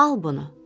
Al bunu.